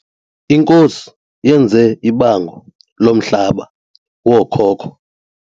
Inkosi yenze ibango lomhlaba wookhoko.